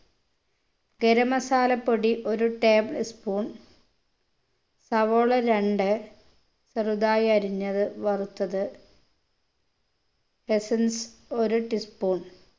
garam masala പൊടി ഒരു tablespoon സവോള രണ്ട് ചെറുതായി അരിഞ്ഞത് വറുത്തത് essence ഒരു teaspoon